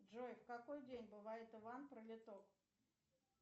джой в какой день бывает иван пролиток